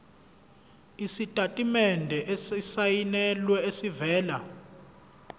isitatimende esisayinelwe esivela